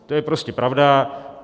To je prostě pravda.